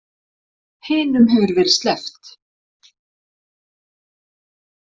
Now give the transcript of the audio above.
Hinum hefur verið sleppt